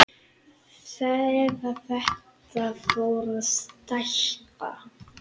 Eða þetta fór að stækka.